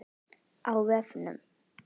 Á vefnum